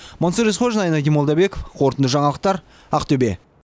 мансұр есқожин айнадин молдабеков қорытынды жаңалықтар ақтөбе